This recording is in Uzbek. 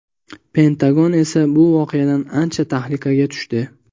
Pentagon esa bu voqeadan ancha tahlikaga tushdi.